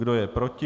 Kdo je proti?